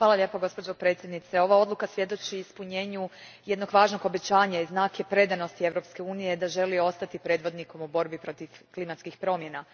Gospođo predsjednice, ova odluka svjedoči o ispunjenju jednog važnog obećanja i znak je predanosti Europske unije da želi ostati predvodnikom u borbi protiv klimatskih promjena.